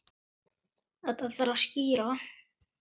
Þetta þarf að skýra.